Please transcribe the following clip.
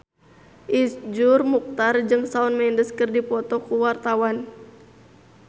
Iszur Muchtar jeung Shawn Mendes keur dipoto ku wartawan